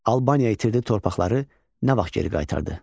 Albaniya itirdi torpaqları nə vaxt geri qaytardı?